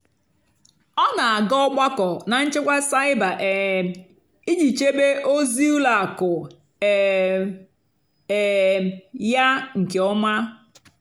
ọ́ nà-àgá ógbákó nà nchèkwà cybér um ìjì chèbé ózì ùlọ àkụ́ um um yá nkè ọ́mà.